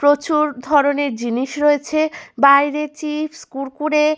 প্রচুর ধরণের জিনিস রয়েছে বাইরে চিপস কুড়কুড়ে ।